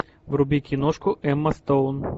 вруби киношку эмма стоун